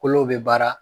Kolo bɛ baara